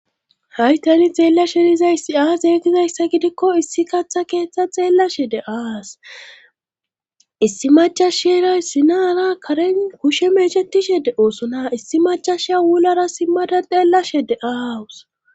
Haytani xeella sherizay siaa zeetizayssa gidikko issi kaththa keeththa xeella shede aas issi machashera sinaara karen kushe meeshetishede oosona issi machasha wulara simmada xeella shede aawusa.